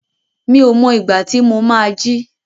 Mi ò mọ ìgbà tí ó má á jí.